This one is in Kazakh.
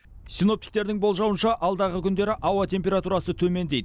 синоптиктердің болжауынша алдағы күндері ауа температурасы төмендейді